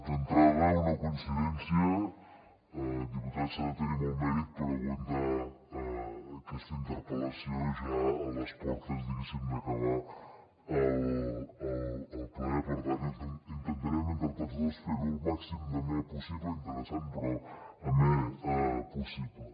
d’entrada una coincidència diputat s’ha de tenir molt mèrit per aguantar aquesta interpel·lació ja a les portes diguéssim d’acabar el ple per tant intentarem entre tots dos fer ho el màxim d’amè possible interessant però amè possible